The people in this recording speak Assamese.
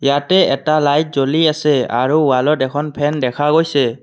ইয়াতে এটা লাইট জ্বলি আছে আৰু ৱালত এখন ফেন দেখা গৈছে।